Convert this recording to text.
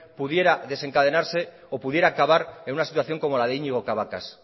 pudieran desencadenarse o pudiera acabar en una situación como la de íñigo cabacas